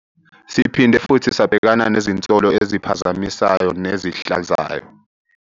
Siphinde futhi sabhekana nezinsolo eziphazamisayo nezihlazayo.